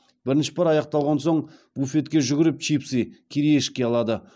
бірінші пар аяқталған соң буфетке жүгіріп чипсы кириешки алады